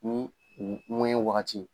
Ni u ŋuwɛɲɛ wagati